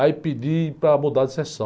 Aí pedi para mudar de sessão.